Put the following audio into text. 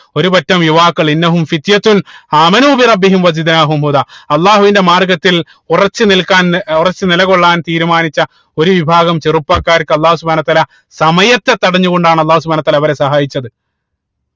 ഒരു പറ്റം യുവാക്കൾ അള്ളാഹുവിന്റെ മാർഗത്തിൽ ഉറച്ച് നിൽക്കാൻ ഏർ ഉറച്ച് നിലകൊള്ളാൻ തീരുമാനിച്ച ഒരു വിഭാഗം ചെറുപ്പക്കാർക്ക് അള്ളാഹു സുബ്‌ഹാനഉ വതാല സമയത്തെ തടഞ്ഞു കൊണ്ടാണ് അള്ളാഹു സുബ്‌ഹാനഉ വതാല അവരെ സഹായിച്ചത്